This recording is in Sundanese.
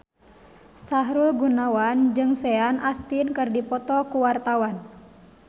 Sahrul Gunawan jeung Sean Astin keur dipoto ku wartawan